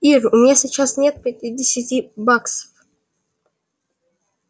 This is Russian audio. ир у меня сейчас нет пятидесяти баксов